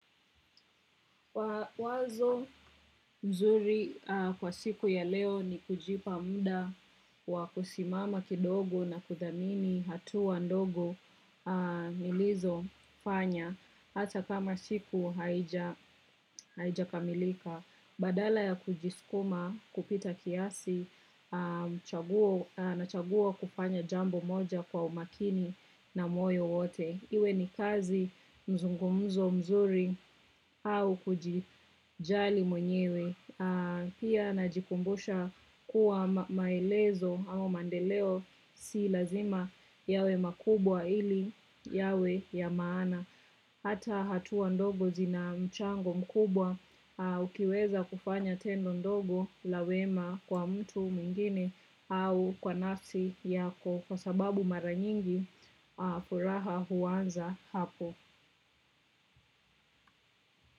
Wazo nzuri kwa siku ya leo ni kujipa muda wakusimama kidogo na kudhamini hatua ndogo nilizofanya hata kama siku haijakamilika badala ya kujisukuma kupita kiasi nachagua kufanya jambo moja kwa umakini na moyo wote. Iwe ni kazi mzungumzo mzuri au kujijali mwenyewe pia najikumbusha kuwa maelezo au maendeleo si lazima yawe makubwa ili yawe ya maana. Hata hatua ndogo zina mchango mkubwa ukiweza kufanya tendo ndogo la wema kwa mtu mwingine au kwa nafsi yako kwa sababu mara nyingi furaha huanza hapo.